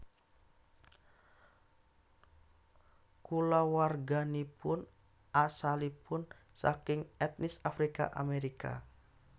Kulawarganipun asalipun saking etnis Afrika Amerika